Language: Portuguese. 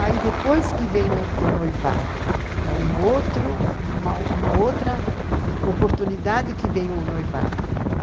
Aí depois que vem o noivado, é uma outra oportunidade que vem o noivado.